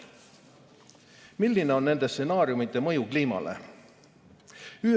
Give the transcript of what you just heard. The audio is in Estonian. Milline on nende stsenaariumide mõju kliimale?